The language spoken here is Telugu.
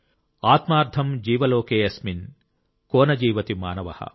ఆత్మార్థం జీవ లోకే అస్మిన్ కో న జీవతి మానవః